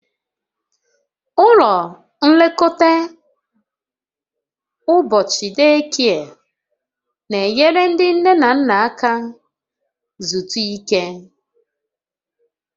Ụlọ nlekọta ụbọchị deekie n'enyere ndị nne na nna aka zutu ike